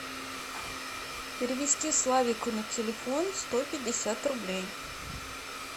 перевести славику на телефон сто пятьдесят рублей